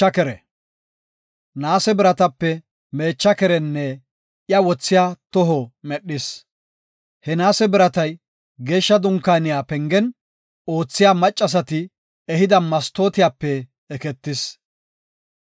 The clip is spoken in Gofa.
Naase biratape meecha kerenne iya wothiya toho medhis. He naase biratay, Geeshsha Dunkaaniya pengen oothiya maccasati ehida mastootiyape eketis.